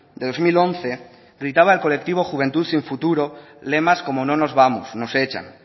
de dos mil once gritaba el colectivo juventud sin futuro lemas como no nos vamos nos echan